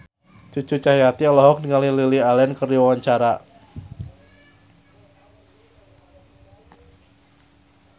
Cucu Cahyati olohok ningali Lily Allen keur diwawancara